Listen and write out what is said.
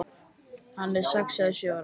Hann er sex eða sjö ára.